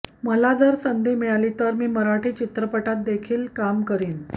मला जर संधी मिळाली तर मराठी चित्रपटात देखील मी काम करीन